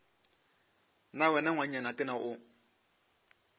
na wena ngwanenyana tena o